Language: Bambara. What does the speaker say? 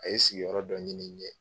A ye sigiyɔrɔ dɔ ɲini n ye